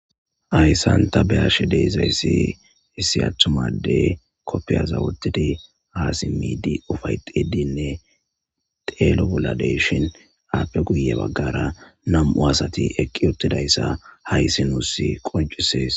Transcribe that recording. Hayssanta beashi deezayssi issi aththumadey koppiyaza wotidi aasi miidi ufayxidinne teeloboladeshin aappe guye baggara nam7u asati eqqi ottidayssa hayssi nuussi qoncisees.